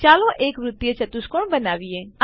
ચાલો એક વૃત્તીય ચતુષ્કોણ બનાવીએ